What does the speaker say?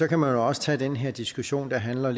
kan også tage den her diskussion der handler